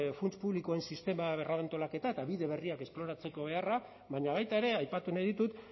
funts publikoen sistema berrantolaketa eta bide berriak esploratzeko beharra baina baita ere aipatu nahi ditut